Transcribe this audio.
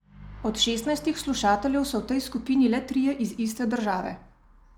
Od šestnajstih slušateljev so v tej skupini le trije iz iste države.